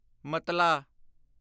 ਮਤਲਾ